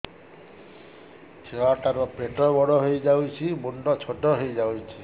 ଛୁଆ ଟା ର ପେଟ ବଡ ହେଇଯାଉଛି ମୁଣ୍ଡ ଛୋଟ ହେଇଯାଉଛି